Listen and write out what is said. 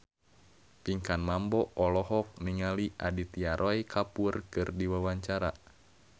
Pinkan Mambo olohok ningali Aditya Roy Kapoor keur diwawancara